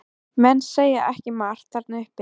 Menn segja ekki margt þarna uppi.